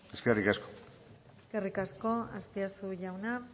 eskerrik asko eskerrik asko azpiazu jauna